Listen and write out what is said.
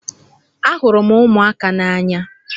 Ahụrụ m ụmụaka n'anya.